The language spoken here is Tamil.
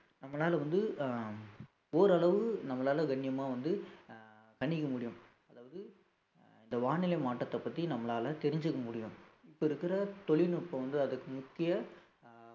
நம்மளால வந்து அஹ் ஓரளவு நம்மளால கண்ணியமா வந்து அஹ் கணிக்க முடியும் அதாவது அஹ் இந்த வானிலை மாற்றத்தை பத்தி நம்மளால தெரிஞ்சுக்க முடியும் இப்ப இருக்கிற தொழில்நுட்பம் வந்து அதுக்கு முக்கிய அஹ்